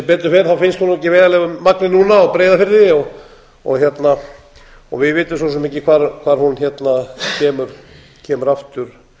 betur fer finnst hún ekki vel í magni núna á breiðafirði við vitum svo sem ekki hvar hún kemur aftur